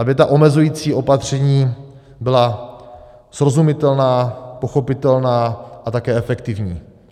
Aby ta omezující opatření byla srozumitelná, pochopitelná a také efektivní.